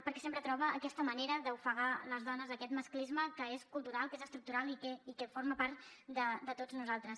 perquè sempre troba aquesta manera d’ofegar les dones aquest masclisme que és cultural que és estructural i que forma part de tots nosaltres